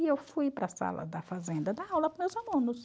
E eu fui para a sala da fazenda dar aula para os meus alunos.